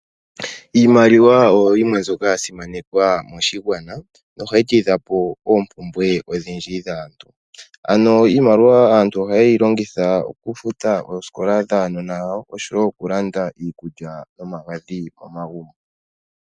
Iimaliwa oyo yimwe mbyoka ya simanekwa moshigwana nohayi tidha po oompumbwe odhindji dhaantu. Ano iimaliwa aantu ohaye yi longitha okufuta oosikola dhaanona yawo oshowo okulanda iikulya nomagadhi momagumbo.